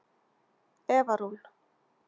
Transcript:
Eva Rún.